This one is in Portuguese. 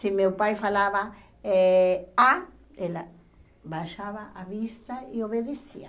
Se meu pai falava eh á, ela baixava a vista e obedecia.